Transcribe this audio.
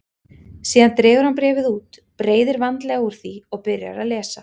Síðan dregur hann bréfið út, breiðir vandlega úr því og byrjar að lesa.